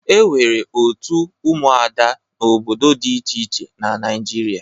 E nwere òtù ụmụada n'obodo dị iche iche na Naịjirịa.